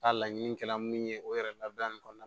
A laɲini kɛra min ye o yɛrɛ labila nin kɔnɔna na